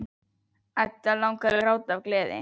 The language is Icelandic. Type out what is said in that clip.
Eddu langar til að gráta af gleði.